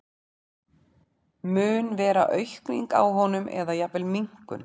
Mun vera aukning á honum eða jafnvel minnkun?